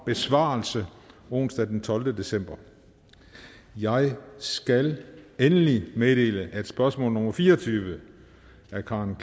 besvarelse onsdag den tolvte december jeg skal endelig meddele at spørgsmål nummer fire og tyve af karen